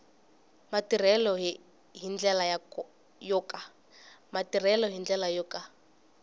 matirhelo hi ndlela yo ka